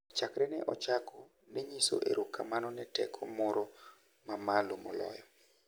chakre ne ochako, ne nyiso erokamano ne teko moro ma malo moloyo,